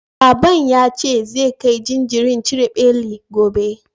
Baban ya ce zai kai jinjirin cire beli gobe.